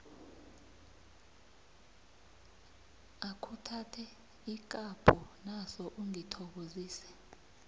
akhuthathe ikapho naso ungithokozise